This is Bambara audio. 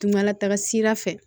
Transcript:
Kunkalataga sira fɛ